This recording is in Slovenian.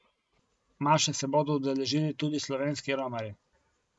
Maše se bodo udeležili tudi slovenski romarji.